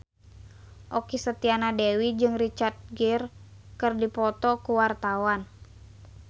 Okky Setiana Dewi jeung Richard Gere keur dipoto ku wartawan